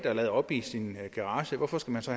at lade op i sin garage hvorfor skal man så